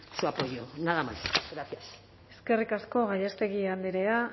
su apoyo nada más gracias eskerrik asko gallástegui andrea